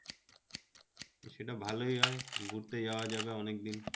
সেটা ভালোই হয় ঘুরতে যাওয়া যাবে অনেক দিন